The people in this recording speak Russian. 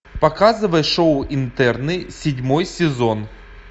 показывай шоу интерны седьмой сезон